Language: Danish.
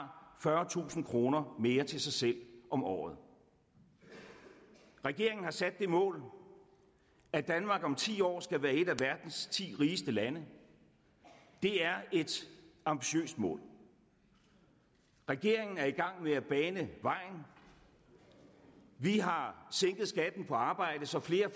fyrretusind kroner mere til sig selv om året regeringen har sat det mål at danmark om ti år skal være et af verdens ti rigeste lande det er et ambitiøst mål regeringen er i gang med at bane vejen vi har sænket skatten på arbejde så flere